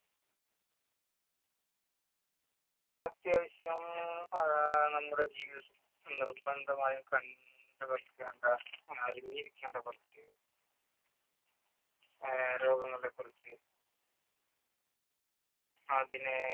അത്യാവശ്യം ആ നമ്മുടെ ജീവിതത്തിൽ നിർബന്ധമായും ക~ണ്ടുവെക്കേണ്ട അറിഞ്ഞിരിക്കേണ്ട കുറച്ച് ആ രോഗങ്ങളെ കുറിച്ച് അതിനെ~